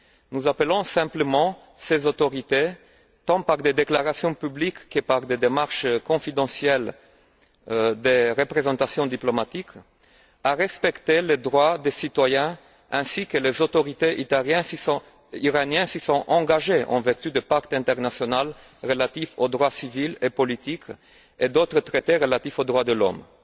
Nous appelons simplement ses autorités, tant par des déclarations publiques que par des démarches confidentielles des représentations diplomatiques, à respecter les droits des citoyens, ainsi que les autorités iraniennes s'y sont engagées en vertu du pacte international relatif aux droits civils et politiques et d'autres traités relatifs aux droits de l'homme.